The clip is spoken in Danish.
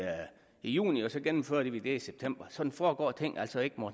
juni og så gennemfører vi det i september sådan foregår ting altså ikke